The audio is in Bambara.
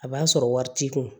A b'a sɔrɔ wari t'i kun